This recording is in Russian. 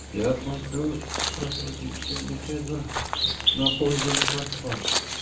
я смотрю профилактическая беседа на пользу не пошла